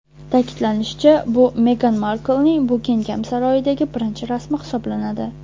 Ta’kidlanishicha, bu Megan Marklning Bukingem saroyidagi birinchi rasmi hisoblanadi.